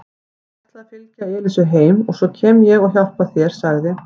Ég ætla að fylgja Elísu heim og svo kem ég og hjálpa þér sagði